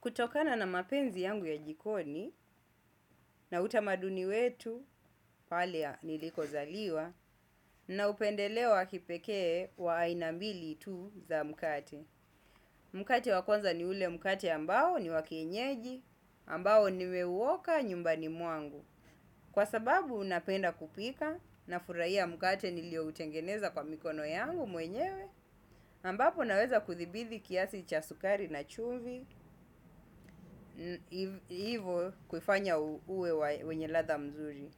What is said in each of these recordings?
Kutokana na mapenzi yangu ya jikoni na utamaduni wetu palea niliko zaliwa na upendelewa kipekee waainambili tu za mukate. Mukate wakwanza ni ule mukate ambao ni wakienyeji ambao nimeuwoka nyumbani muangu. Kwa sababu unapenda kupika na furaia mukate nilio utengeneza kwa mikono yangu mwenyewe ambapo naweza kuthibidhi kiasi cha sukari na chumvi. Ivo kufanya uwe wenye latha mzuri.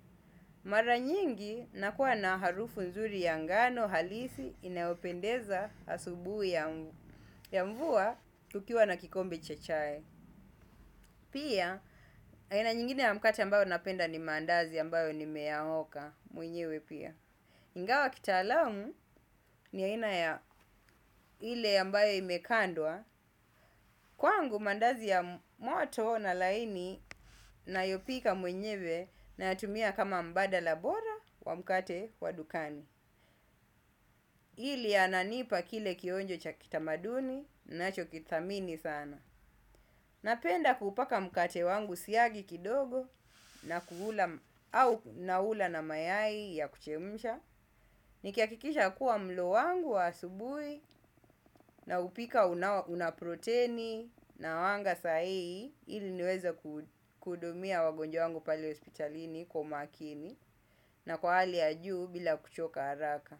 Mara nyingi nakuwa na harufu mzuri ya ngano halisi inayopendeza asubui ya mvua kukiwa na kikombe chechai pia aina nyingine ya mukate ambao napenda ni mandazi ambao nimeyaoka mwenyewe pia ingawa kitaalamu ni aina ya ile ambae imekandwa. Kwa angu mandazi ya moto na laini na yopika mwenyewe. Na tumia kama mbada la bora wa mkate wa dukani. Ili ananipa kile kionjo cha kitamaduni na cho kitamini sana. Napenda kupaka mkate wangu siagi kidogo. Na kuhula au naula na mayai ya kuchemisha. Nikiakikisha kuwa mlo wangu wa asubui na upika unaproteini na wanga sahii. Ili niweza kudumia wagonjwa wangu pali hospitalini kwa makini na kuali ya juu bila kuchoka haraka.